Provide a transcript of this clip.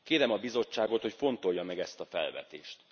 Kérem a Bizottságot, hogy fontolja meg ezt a felvetést.